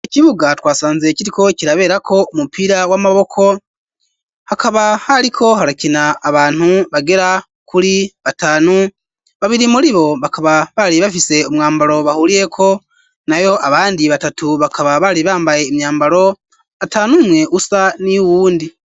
Ikibuga twasanzee ikitwo kiraberako umupira w'amaboko hakaba hariko harakina abantu bagera kuri batanu babiri muri bo bakaba bari bafise umwambaro bahuriyeko na yo abandi batatu bakaba bari bambaye imyambaro atanumwe usa ni yo uwundi.